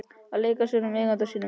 Að leika sér með eiganda sínum.